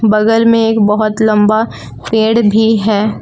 बगल में एक बहुत लंबा पेड़ भी है।